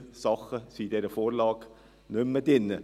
So viele Dinge sind in dieser Vorlage nicht mehr drin.